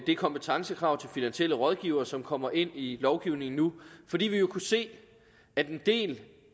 det kompetencekrav til finansielle rådgivere som kommer ind i lovgivningen nu fordi vi jo kunne se at en del